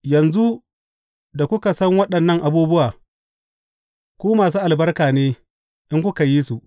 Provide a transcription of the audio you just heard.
Yanzu da kuka san waɗannan abubuwa, ku masu albarka ne, in kuka yi su.